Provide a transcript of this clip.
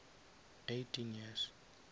eighteen years